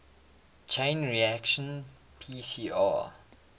chain reaction pcr